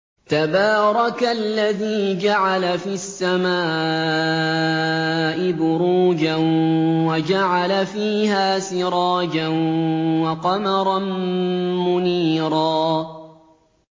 تَبَارَكَ الَّذِي جَعَلَ فِي السَّمَاءِ بُرُوجًا وَجَعَلَ فِيهَا سِرَاجًا وَقَمَرًا مُّنِيرًا